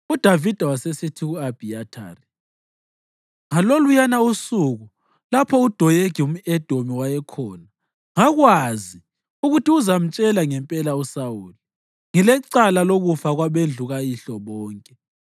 UDavida wasesithi ku-Abhiyathari, “Ngaloluyana usuku, lapho uDoyegi umʼEdomi wayekhona, ngakwazi ukuthi uzamtshela ngempela uSawuli. Ngilecala lokufa kwabendlu kayihlo bonke.